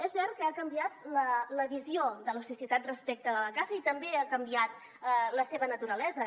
és cert que ha canviat la visió de la societat respecte de la caça i també ha canviat la seva naturalesa